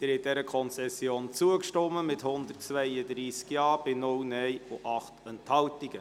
Sie haben dieser Konzession zugestimmt mit 132 Ja- bei 0 Nein-Stimmen bei 8 Enthaltungen.